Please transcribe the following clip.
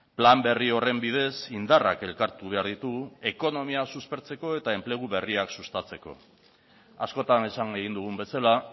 plan berri horren bidez indarrak elkartu behar ditugu ekonomia suspertzeko eta enplegu berriak sustatzeko askotan esan egin dugun bezala